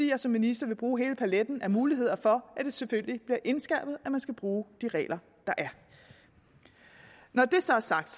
jeg som minister vil bruge hele paletten af muligheder for at det selvfølgelig bliver indskærpet at man skal bruge de regler der er når det så er sagt